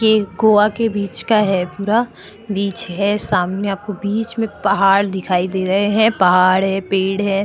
ये गोवा के बीच का है पूरा बीच है सामने आपको बीच में पहाड़ दिखाई दे रहे हैं पहाड़ है पेड़ है।